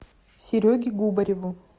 сереге губареву